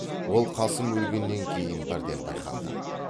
ол қасым өлгеннен кейін бірден байқалды